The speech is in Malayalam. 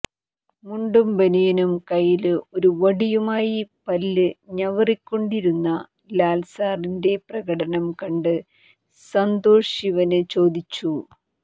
മുണ്ടും ബനിയനും കയ്യില് ഒരു വടിയുമായി പല്ല് ഞവറിക്കൊണ്ടിരുന്ന ലാല്സാറിന്റെ പ്രകടനം കണ്ട് സന്തോഷ്ശിവന് ചോദിച്ചു